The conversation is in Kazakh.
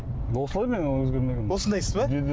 осылай мен өзгермеймін осындайсыз ба